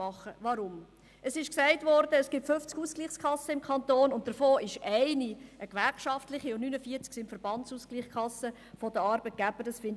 Weshalb? – Es wurde gesagt, dass es im Kanton 50 Ausgleichskassen gibt, wovon eine gewerkschaftlich ist, während 49 Verbandsausgleichskassen der Arbeitgeber sind.